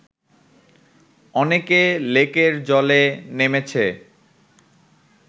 অনেকে লেকের জলে নেমেছে